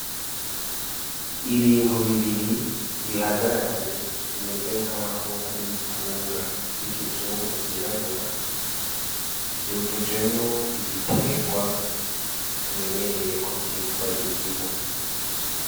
Ibintu b'ibiri bihagararanye bimeze nkaho ari ibitunga vy'ikizungu vy'irabura vyujujemwo ibiterwa tumenyereye ko vyitwa indimu.